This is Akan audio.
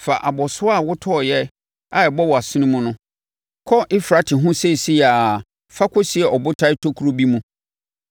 “Fa abɔsoɔ a, wotɔeɛ a ɛbɔ wʼasene mu no, kɔ Eufrate ho seisei ara na fa kɔsie abotan tokuro no bi mu.”